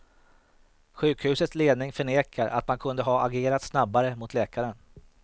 Sjukhusets ledning förnekar att man kunde ha agerat snabbare mot läkaren.